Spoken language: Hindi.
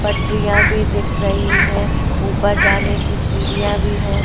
पटरिया भी दिख रही है ऊपर जाने की सीढ़ियां भी है।